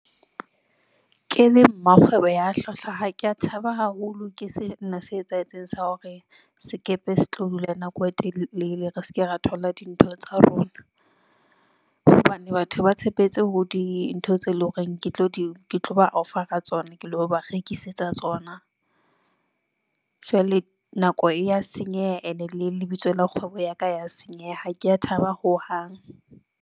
Ke le mmakgwebo ya hlwahlwa, ha ke ya thaba haholo ke sena se etsahetseng sa hore sekepe se tlo dula nako e telele, re seke ra thola dintho tsa rona, hobane batho ba tshepetse ho dintho tse leng hore ke tlo di ke tlo ba offer-a tsona. Ke lo ba rekisetsa tsona. Jwale nako e ya senyeha ene le lebitso la kgwebo ya ka ya senyeha, ha ke ya thaba ho hang.